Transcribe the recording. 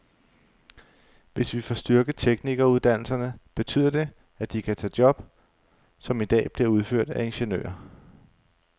Hvis vi får styrket teknikeruddannelserne, betyder det, at de kan tage job, som i dag bliver udført af ingeniører.